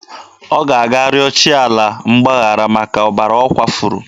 Ọ ga-aga rịọ chi ala mgbaghara maka ọbara ọ kwafuru.